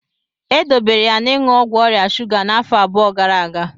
E dobere ya n'iṅụ ọgwụ ọrịa shuga n'afọ abụọ gara aga.